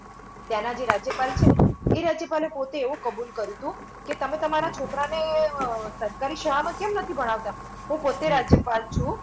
ત્યાંના જે રાજ્યપાલ છેને એ રાજ્યપાલે પોતે એવું કબૂલ કર્યું તું કે તમે તમારા છોકરાને સરકારી શાળામાં કેમ નથી ભણાવતા, હું પોતે રાજ્યપાલ છું